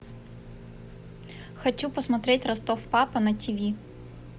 хочу посмотреть ростов папа на тв